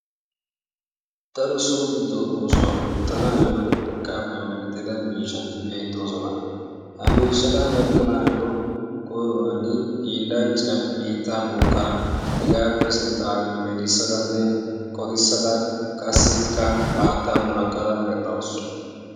Daro so giddo oosuwa oottanaayyo urqqaappe merettida miishshati beettoosona. Ha miishshata medhdhanaayyo koyruwan hiillanchchiya biittaa bookada, hegaappe sinttan melissadanne qoxissada haattaa munaqqada medhdhawusu.